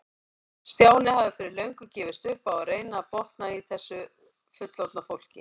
Stjáni hafði fyrir löngu gefist upp á að reyna að botna í þessu fullorðna fólki.